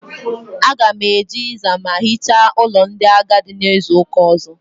Aga m eje ịza ma hicha ụlọ ndị agadi n'izuụka ọ̀zọ́.